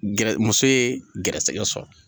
Muso ye gɛrɛsɛgɛ sɔrɔ.